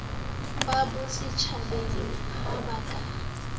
ba bosetjhabeng ha a ka